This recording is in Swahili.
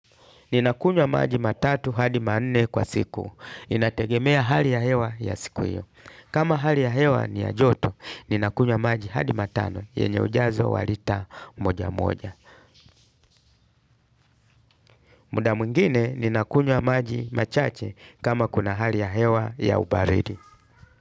Ninakunywa maji matatu hadi manne kwa siku. Inategemea hali ya hewa ya siku hiyo. Kama hali ya hewa ni ya joto, ninakunywa maji hadi matano, yenye ujazo wa lita moja moja. Muda mwingine, ninakunywa maji machache kama kuna hali ya hewa ya ubaridi.